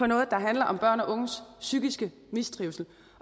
noget der handler om børn og unges psykiske mistrivsel